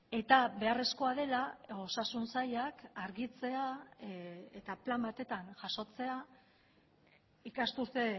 eta beharrezkoa dela osasun sailak argitzea eta plan batetan jasotzea ikasturte